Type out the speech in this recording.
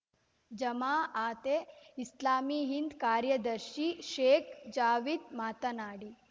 ಜಮಾ ಅತೆ ಇಸ್ಲಾಮೀ ಹಿಂದ್‌ ಕಾರ್ಯದರ್ಶಿ ಶೇಖ್‌ ಜಾವೀದ್‌ ಮಾತನಾಡಿ